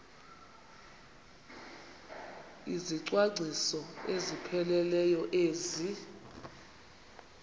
izicwangciso ezipheleleyo ezi